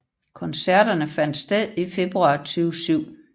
Koncerterne fandt sted i februar 2007